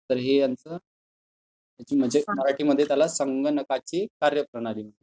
तर हे यांच म्हणजे मराठीमध्ये त्याला संगणकाची कार्यप्रणाली म्हणतात.